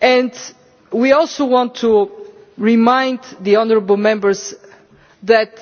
And we also want to remind honourable Members that